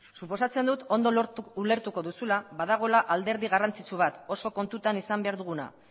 suposatzen dut ondo ulertuko duzula badagoela alderdi garrantzitsu bat oso kontutan izan behar duguna